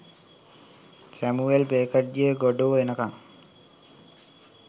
Samuel බෙකට්ගේ "Godot එනකං"